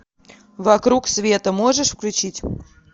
вокруг света можешь включить